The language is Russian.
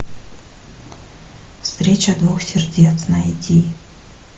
встреча двух сердец найди